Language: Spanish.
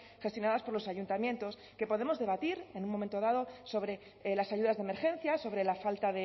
gestionadas por los ayuntamientos que podemos debatir en un momento dado sobre las ayudas de emergencia sobre la falta